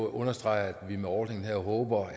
understrege at vi med ordningen her håber